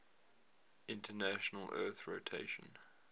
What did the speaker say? international earth rotation